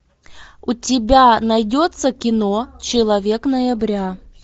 у тебя найдется кино человек ноября